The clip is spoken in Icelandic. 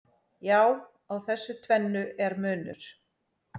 Já, á þessu tvennu er munur.